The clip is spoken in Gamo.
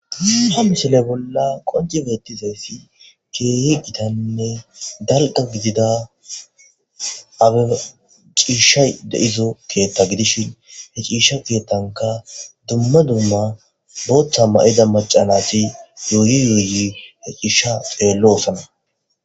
Ha misile bolla qonci geettizeessi keeyi gitannne dalqa gidida abe ciishshay deizo keethta gidishin he ciisha giettanka dumma dumma booththa ma'ida macanasi yooyi yoyi he ciisha xeello osana.